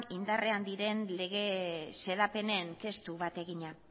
indarrean diren lege xedapenen testu bat egina